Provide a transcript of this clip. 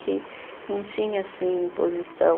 Que não tinha, assim, imposição.